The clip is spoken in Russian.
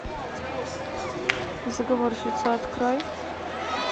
заговорщица открой